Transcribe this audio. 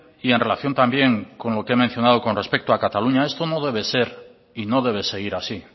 y en relación también con lo que he mencionado con respecto a cataluña esto no debe ser y no debe seguir así